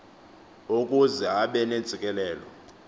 ukuze abe nentsikelelo